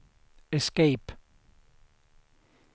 escape